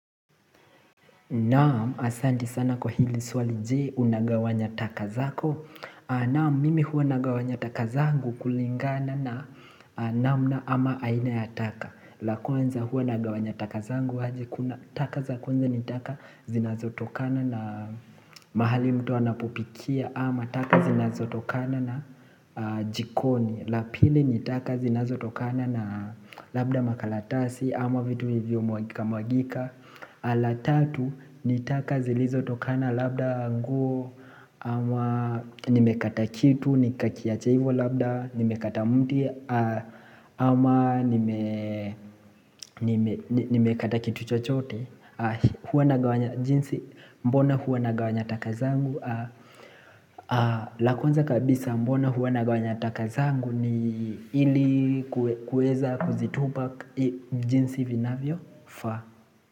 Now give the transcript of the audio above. Naam, asanti sana kwa hili swali je unagawanya taka zako Naam, mimi hua nagawanya taka zangu kulingana na namna ama aina ya taka la kwanza huwa nagawanya taka zangu aje kuna taka za kwanza ni taka zinazotokana na mahali mtu anapopikia ama taka zinazotokana na jikoni la pili ni taka zinazotokana na labda makalatasi ama vitu vilivyo mwagika mwagika la tatu, ni taka zilizo tokana labda nguo, ama nimekata kitu, nikakiacha ivo labda, nimekata mti, ama nimekata kitu chochote Huwa nagawanya jinsi, mbona huwa nagawanya taka zangu? La kwanza kabisa, mbona huwa nagawanya taka zangu ni ili kuweza kuzitupa jinsi vinavyo faa.